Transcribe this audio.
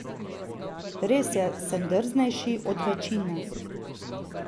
Res je, sem drznejši od večine.